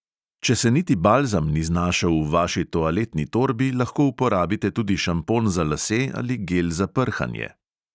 Če se niti balzam ni znašel v vaši toaletni torbi, lahko uporabite tudi šampon za lase ali gel za prhanje.